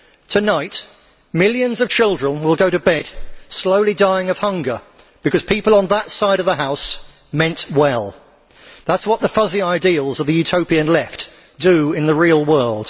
Tonight millions of children will go to bed slowly dying of hunger because people on that side of the House meant well that is what the fuzzy ideals of the Utopian left do in the real world.